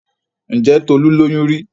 Ǹjẹ́ Tolu lóyún rí?